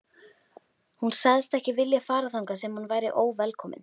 Hún sagðist ekki vilja fara þangað sem hún væri óvelkomin.